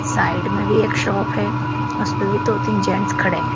Side में भी एक शॉप है उसपे भी दो तीन जेंटस खड़े हैं।